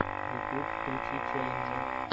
ютьюб включи челленджи